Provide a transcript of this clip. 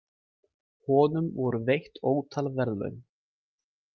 Honum voru veitt ótal verðlaun.